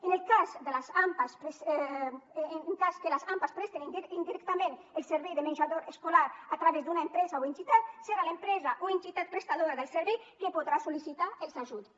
en el cas que les ampas prestin indirectament el servei de menjador escolar a través d’una empresa o entitat serà l’empresa o entitat prestadora del servei que podrà sol·licitar els ajuts